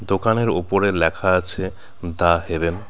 দোকানের ওপরে লেখা আছে দা হেভেন .